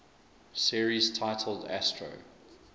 series titled astro